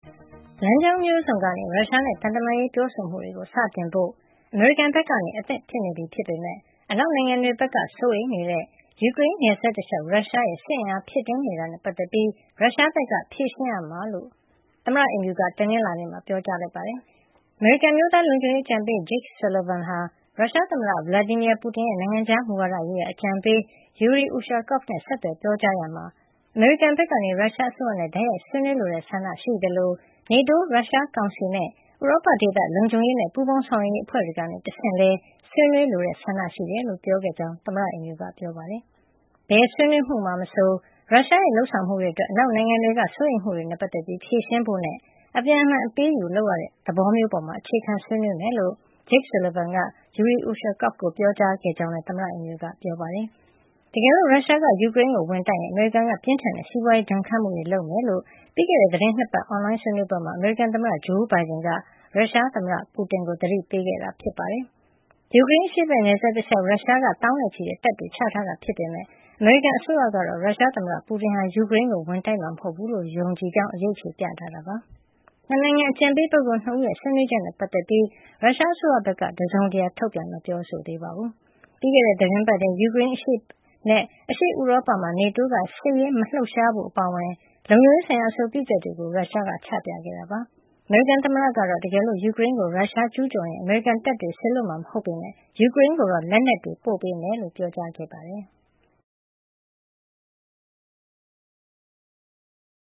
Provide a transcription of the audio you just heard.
လမ်းကြောင်းမျိုးစုံကနေ ရုရှားနဲ့ သံတမန်ရေးပြောဆိုမှုတွေ စတင်ဖို့ အမေရိကန်ဘက်က အဆင်သင့်ဖြစ်နေပြီ ဖြစ်ပေမဲ့ အနောက်နိုင်ငံတွေဘက်က စိုးရိမ်နေကြတဲ့ ယူကရိန်းနယ်စပ်တလျှောက် ရုရှားရဲ့စစ်ရေးအားဖြည့်နေတာနဲ့ ပတ်သက်ပြီး ရုရှားက ဖြေရှင်းရမှာ ဖြစ်ကြောင်း အမေရိကန် သမ္မတအိမ်ဖြူက တနင်္လာနေ့မှာ ပြောကြားလိုက်ပါတယ်။ အမေရိကန်အမျိုးသားလုံခြုံရေးအကြံပေး Jake Sullivan က ရုရှားသမ္မတ Vladimir Putin ရဲ့ နိုင်ငံခြားမူဝါဒရေးရာအကြံပေး Yuri Ushakov နဲ့ ဆက်သွယ်ပြောကြားရာမှာ အမေရိကန်ဘက်က ရုရှားအစိုးရနဲ့ တိုက်ရိုက်ဆွေးနွေးလိုတဲ့ ဆန္ဒရှိသလို မြောက်အတ္တလန္တိတ်စစ်စာချုပ် အဖွဲ့ NATO ၊ ရုရှားကောင်စီနဲ့ ဥရောပဒေသ လုံခြုံရေးနဲ့ ပူးပေါင်းဆောင်ရွက်ရေး အဖွဲ့ တွေကနေ တဆင့်လည်း ဆွေးနွေးလိုတဲ့ ဆန္ဒရှိကြောင်း ပြောခဲ့တယ်လို့ သမ္မတအိမ်ဖြူတော်က ပြောပါတယ်။ ဘယ်ဆွေးနွေးမှုမှာ မဆို ရုရှားရဲ့လုပ်ဆောင်မှုတွေအတွက် အနောက်နိုင်ငံတွေက စိုးရိမ်မှုတွေနဲ့ ပတ်သက်ပြီး ဖြေရှင်းဖို့နဲ့ အပြန်အလှန် အပေးအယူ လုပ်ရတဲ့ သဘောမျိုးပေါ် အခြေခံဆွေးနွေးရမှာ ဖြစ်ကြောင်း Jake Sullivan က Yuri Ushakov ကို ပြောကြားခဲ့ကြောင်းလည်း သမ္မတအိမ်ဖြူတော်က ပြောပါတယ်။ တကယ်လို့ ရုရှားက ယူကရိန်းကို ဝင်တိုက်ရင် အမေရိကန်က ပြင်းထန်တဲ့စီးပွါးရေးဒဏ်ခတ်မှုတွေ လုပ်မှာ ဖြစ်ကြောင်း ပြီးခဲ့တဲ့ သီတင်း ၂ ပတ်အွန်လိုင်းဆွေးနွေးပွဲမှာ အမေရိကန်သမ္မတ ဂျိုးဘိုင်ဒန်က ရုရှားသမ္မတပူတင်ကို သတိပေးခဲ့တာ ဖြစ်ပါတယ်။ ယူကရိန်းအရှေ့ဘက်နယ်စပ်တလျှောက် ရုရှားက သောင်းနဲ့ချီတဲ့တပ်တွေချထားတာဖြစ်ပေမဲ့ အမေရိကန်အစိုးရကတော့ ရုရှားသမ္မတ ပူတင်ဟာ ယူကရိန်းကို ဝင်တိုက်မှာ မဟုတ်ဘူးလို့ ယုံကြည်ကြောင်း အရိပ်အခြေပြထားတာပါ။ ၂ နိုင်ငံ အကြံပေးပုဂ္ဂိုလ် ၂ ဦးရဲ့ ဆွေးနွေးချက်နဲ့ ပတ်သက်ပြီး ရုရှားအစိုးရဘက်က တစုံတရာထုတ်ပြန်ပြောကြားတာ မရှိသေးပါဘူး။ ပြီးခဲ့တဲ့သီတင်းပတ်ထဲမှာပဲ ယူကရိန်းနဲ့ အရှေ့ဥရောပမှာ NATO က စစ်ရေးမလှုပ်ရှားဖို့ အပါအဝင် လုံခြုံရေးဆိုင်ရာ အဆိုပြုချက်တွေကို ရုရှားက ချပြခဲ့တာ ဖြစ်ပါတယ်။ အမေရိကန် သမ္မတကတော့ တကယ်လို့ ယူကရိန်းကို ရုရှားကျူးကျော်လာရင် အမေရိကန်တပ်တွေ စေလွှတ်မှာ မဟုတ်ပေမဲ့ ယူကရိန်းကို လက်နက်တွေ ပို့ပေးမှာ ဖြစ်ကြောင်း ပြောကြားခဲ့တာပါ။